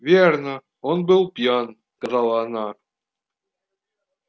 верно он был пьян сказала она